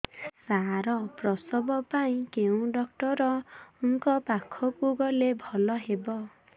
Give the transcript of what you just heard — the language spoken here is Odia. ସାର ପ୍ରସବ ପାଇଁ କେଉଁ ଡକ୍ଟର ଙ୍କ ପାଖକୁ ଗଲେ ଭଲ ହେବ